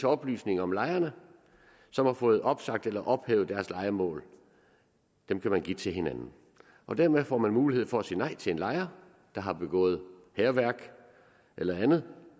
oplysninger om lejere som har fået opsagt eller ophævet deres lejemål dem kan man give til hinanden og dermed får man mulighed for at sige nej til en lejer der har begået hærværk eller andet